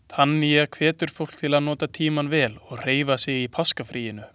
Tanya hvetur fólk til að nota tímann vel og hreyfa sig í páskafríinu.